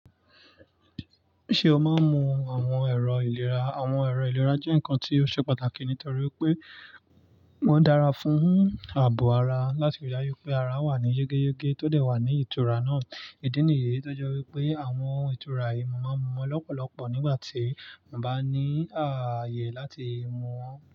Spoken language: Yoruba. Ṣé o máa ń mu àwọn ẹ̀rọ ìlera? Àwọn ẹ̀rọ ìlera jẹ́ nǹkan tí ó ṣe pàtàkì nítorí pé wọ́n dára fún ààbò ara láti rí i dájú pé ara wà ní yege yege tó dẹ̀ wà ní ìtura náà. Ìdí nìyí tó jẹ́ wípé àwọn ìtura yìí máa ń mu wọn lọ́pọ̀lọpọ̀ nígbà tí mọ́ bá ní ààyè láti mu wọn.